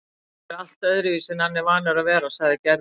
Hann er allt öðruvísi en hann er vanur að vera, sagði Gerður.